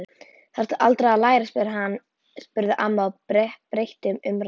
Þarftu aldrei að læra? spurði amma og breytti um umræðuefni.